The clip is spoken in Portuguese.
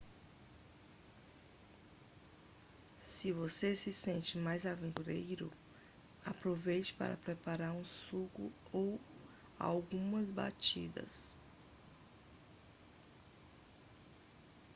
se você se sente mais aventureiro aproveite para preparar um suco ou algumas batidas